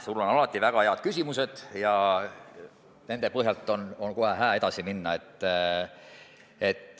Sul on alati väga head küsimused ja nende põhjal on kohe hää edasi minna.